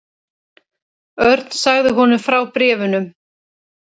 Örn sagði honum frá bréfunum.